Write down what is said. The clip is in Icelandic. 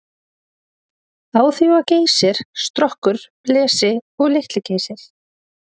Á því var Geysir, Strokkur, Blesi og Litli-Geysir.